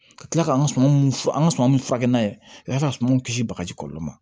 Ka tila ka an ka suman mun f an ka suman mun furakɛ n'a ye ka sumanw kisi bagaji kɔlɔlɔ ma